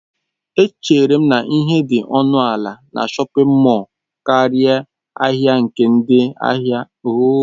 Echere m na ihe dị ọnụ ala na shọpin mọll karịa ahịa nke dị n'ahịa obodo.